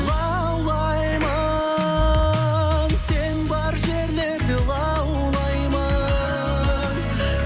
лаулаймын сен бар жерлерде лаулаймын